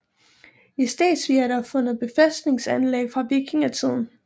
I Stegsvig er der fundet befæstningsanlæg fra vikingetiden